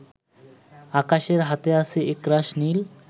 আকাশের হাতে আছে একরাশ নীল